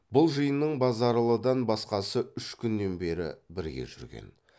бұл жиынның базаралыдан басқасы үш күннен бері бірге жүрген